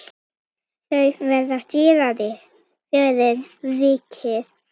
Þau verða dýrari fyrir vikið.